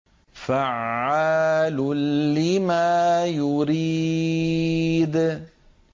فَعَّالٌ لِّمَا يُرِيدُ